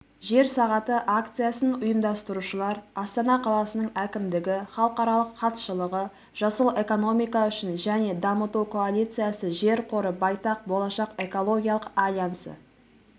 жер сағаты акциясын ұйымдастырушылар астана қаласының әкімдігі халықаралық хатшылығы жасыл экономика үшін және дамыту коалициясы жер қоры байтақ болашақ экологиялық альянсы